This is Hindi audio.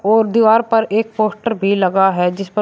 और दीवार पर एक पोस्ट भी लगा है जिस पर--